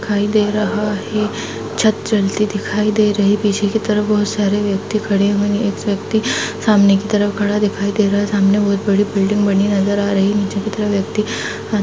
दिखाई दे रहा है छत डलती दिखाई दे रही पीछे के तरफ बहुत सारे व्यक्ति खड़े हुए हैं एक व्यक्ति सामने की तरफ खड़ा दिखाई दे रहा है सामने बहुत बड़ी बिल्डिंग बनी नजर आ रही है नीचे की तरफ व्यक्ति --